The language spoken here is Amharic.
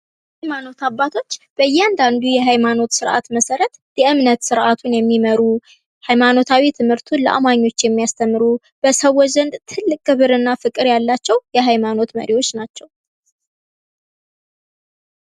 የሀይማኖት አባቶች በእያንዳዱ የሀይማኖት ስርዓት መሰረት የእምነት ስርዓቱን የሚመሩ፤ ሀይማኖታዊ ትምህርቱን ለአማኞች የሚያስተምሩ፤ በሰዎች ዘንድ ትልቅ ፍቅርና ክብር ያላቸው የሀይማኖት መሪወች ናቸው።